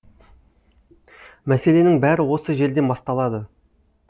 мәселенің бәрі осы жерден басталады